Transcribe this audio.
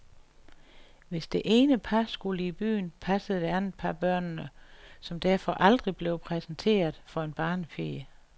Hvis det ene par skulle i byen, passede det andet par børnene, som derfor aldrig blev præsenteret for en barnepige.